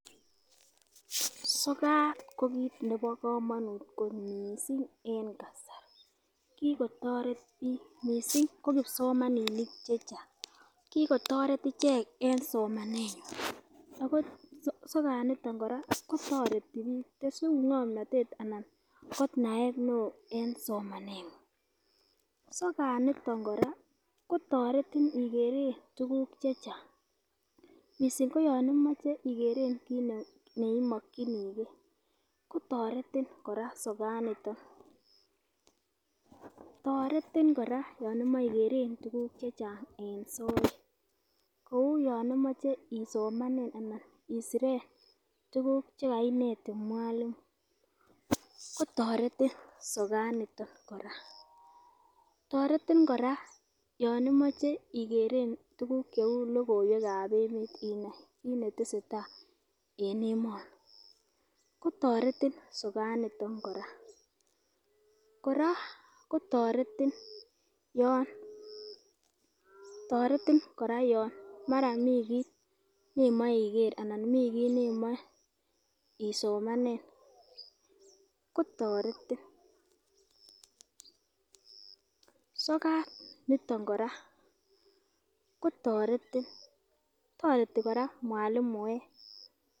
Sokat ko kit nebo komonut kot missing en kasari kikotoret bik missing ko kipsomaninik chechang kikotoret ichek en somanenywan ako sokat niton Koraa kotoreti bik tesun ngomnotet ana ko naet neo en somanengung. Sokat niton kotoretin ikeren tukuk chechang missing ko yon imoche ikeren kit neimokinigee kotoreti Koraa sokat niton. Toretin koraa yon imoche en ikeren tukuk chechang en soet kou yon imoche isomenen anan isiren tukuk chekainetin mwalimu kotoreti sokat niton koraa. Toreti koraa yon imoche ikeren tukuk cheu lokoiwekab emet kit netesetai en emoni kotoreti sokat niton Koraa, Koraa kotoreti yon toretin koraa yon mara mii kii neimoi iker ana mii kii neimoi isomanen kotoretin. Sokat niton Koraa kotoreti toreti koraa mwalimuek.